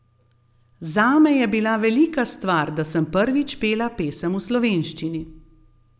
Zame je bila velika stvar, da sem prvič pela pesem v slovenščini.